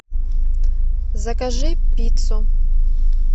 закажи пиццу